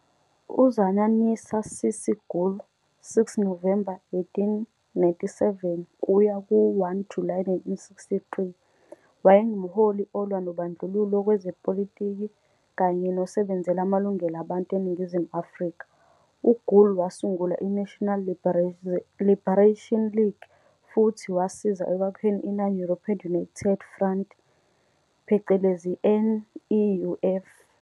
UZainunnisa "Cissie" Gool, 6 Novemba 1897 - 1 Julayi 1963, wayengumholi olwa nobandlululo kwezepolitiki kanye nosebenzela amalungelo abantu eNingizimu Afrika. UGool wasungula iNational Liberation League futhi wasiza ekwakheni i-Non-European United Front, NEUF.